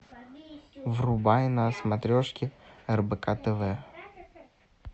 врубай на смотрешке рбк тв